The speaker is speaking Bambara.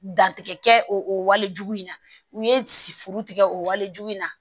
Dantigɛ kɛ o wale jugu in na u ye siforo tigɛ o walejugu in na